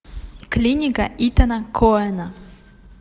клиника итана коэна